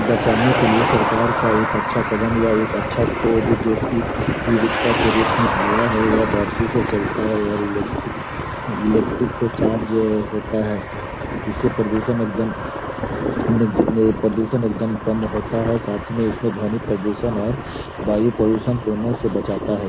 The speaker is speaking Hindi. बचाने के लिए सरकार का एक अच्छा कदम या एक अच्छा खोज जो कि ई रिक्शा के रूप में आया है। यह बैटरी से चलता है और इलेक्ट्रिक इलेक्ट्रिक से चार्ज होता है। इससे प्रदूषण एक दम कम प्रदूषण एक दम कम होता है साथ में इसमें ध्वनि प्रदूषण और वायु प्रदुषण तीनों से बचाता है।